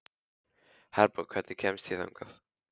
Herborg, hvernig kemst ég þangað?